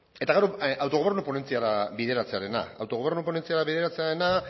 eta gaur autogobernua ponentziara bideratzearena autogobernu ponentzia bideratzearena